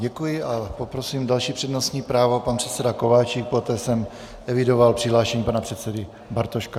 Děkuji a poprosím další přednostní právo, pan předseda Kováčik, poté jsem evidoval přihlášení pana předsedy Bartoška.